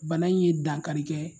Bana in ye dankari kɛ